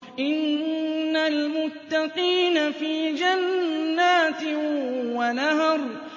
إِنَّ الْمُتَّقِينَ فِي جَنَّاتٍ وَنَهَرٍ